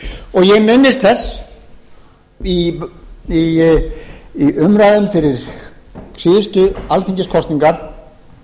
grændals ég minnist þess að í umræðum fyrir síðustu alþingiskosningar